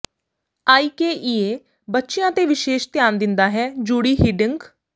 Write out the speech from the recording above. ਆਈਕੇ ਈ ਏ ਬੱਚਿਆਂ ਤੇ ਵਿਸ਼ੇਸ਼ ਧਿਆਨ ਦਿੰਦਾ ਹੈ ਜੂਡੀ ਹਿਡਿੰਗ